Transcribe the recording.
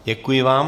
Děkuji vám.